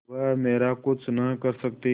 वह मेरा कुछ नहीं कर सकती